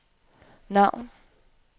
navn